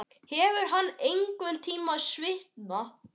Hefur hann einhverntímann svitnað?